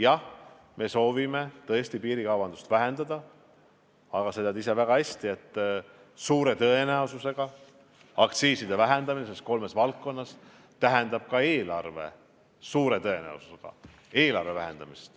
Jah, me soovime tõesti piirikaubandust vähendada, aga sa tead ise väga hästi, et aktsiiside vähendamine kolmes valdkonnas tähendab suure tõenäosusega ka eelarve vähendamist.